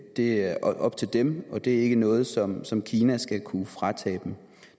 det er op til dem og det er ikke noget som som kina skal kunne fratage dem